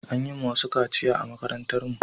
An yi ma wasu kaciya a makarantar mu